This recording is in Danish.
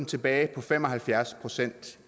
tilbage på fem og halvfjerds procent